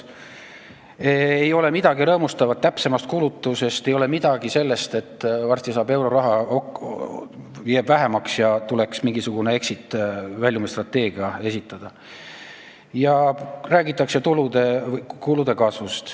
Ei ole midagi rõõmustavat täpsemast kulutamisest, ei ole midagi sellest, et varsti saab euroraha otsa või õigemini jääb vähemaks ja tuleks mingisugune exit- ehk väljumisstrateegia esitada.